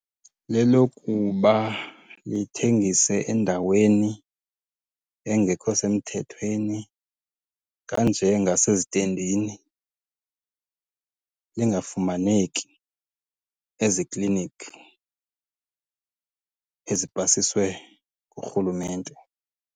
Lelokuba lithengise endaweni engekho semthethweni, kanjengasezitendini. Lingafumaneki ezikliniki ezipasiswe ngurhulumente.